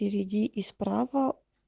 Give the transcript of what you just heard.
впереди и справа